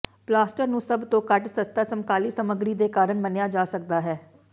plaster ਨੂੰ ਸਭ ਤੋਂ ਘੱਟ ਸਸਤਾ ਸਮਕਾਲੀ ਸਾਮੱਗਰੀ ਦੇ ਕਾਰਨ ਮੰਨਿਆ ਜਾ ਸਕਦਾ ਹੈ